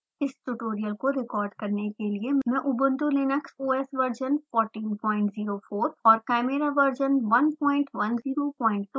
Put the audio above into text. इस ट्यूटोरियल को रिकॉर्ड करने के लिए मैं ubuntu linux O S version 1404 और chimera वर्जन 1102 का उपयोग कर रही हूँ